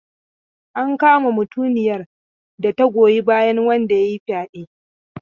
An kama mutumiyar da ta goyi bayan wanda ya yi fyaɗe.